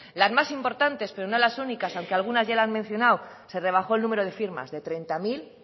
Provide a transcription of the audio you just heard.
las más importantes pero no las únicas aunque algunas ya lo han mencionado se rebajó el número de firmas de treinta mil